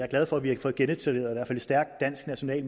glad for at vi har fået genetableret en stærk dansk national